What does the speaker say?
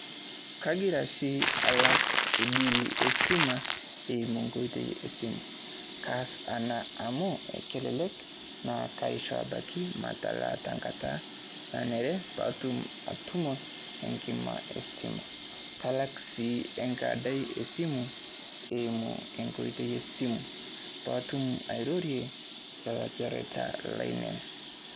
Kaagira shii alaak biil e stimaa eimu nkotoi e simu. Kaas ana amu ekelelek naa kaishoo abaki matalaa taa nkaata naneree paatum atumo enkimaa e stimaa. Kalaak si enkadaai e simu eimuu enkaata e simu paa atum airorie ekarita laineen.